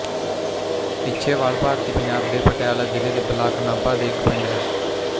ਇੱਛੇਵਾਲ ਭਾਰਤੀ ਪੰਜਾਬ ਦੇ ਪਟਿਆਲਾ ਜ਼ਿਲ੍ਹੇ ਦੇ ਬਲਾਕ ਨਾਭਾ ਦੇ ਇੱਕ ਪਿੰਡ ਹੈ